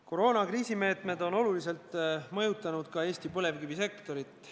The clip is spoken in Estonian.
Koroonakriisi meetmed on oluliselt mõjutanud ka Eesti põlevkivisektorit.